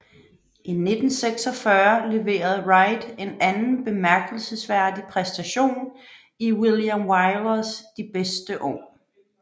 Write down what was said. I 1946 leverede Wright en anden bemærkelsesværdig præstation i William Wylers De bedste år